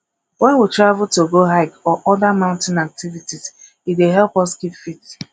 when we travel to go hike or oda mountain activites e dey help us keep fit